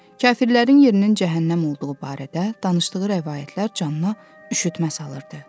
Kafirlərin yerinin cəhənnəm olduğu barədə danışdığı rəvayətlər canına üşütmə salırdı.